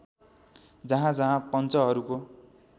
जहाँ जहाँ पञ्चहरूको